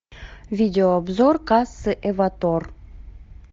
видеообзор кассы эвотор